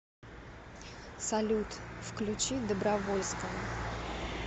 салют включи добровольского